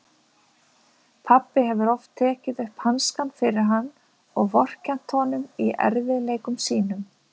Pabbi hefur oft tekið upp hanskann fyrir hann og vorkennt honum í erfiðleikum sínum.